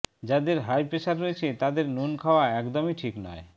যাদের হাইপ্রেশার রয়েছে তাদের নুন খাওয়া একদমই ঠিক নয়